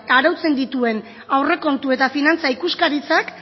arautzen dituen aurrekontu eta finantza ikuskaritzak